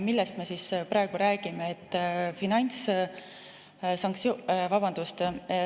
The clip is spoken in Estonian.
Millest me praegu räägime?